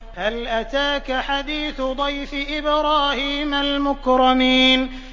هَلْ أَتَاكَ حَدِيثُ ضَيْفِ إِبْرَاهِيمَ الْمُكْرَمِينَ